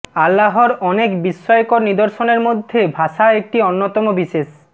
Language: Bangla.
আল্লাহর অনেক বিস্ময়কর নিদর্শনের মধ্যে ভাষা একটি অন্যতম বিশেষ